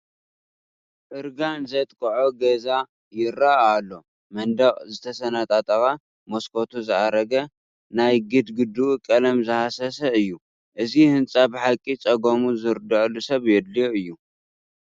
እርጋን ዘጥቅዖ ገዛ ይርአ ኣሎ፡፡ መንደቑ ዝተሰነጣጠቐ፣ መስኮቱ ዝኣረገ፣ ናይ ግድ ግድኡ ቀለም ዝሃሰሰ እዩ፡፡ እዚ ህንፃ ብሓቂ ፀገሙ ዝርድአሉ ሰብ የድልዮ እዩ፡፡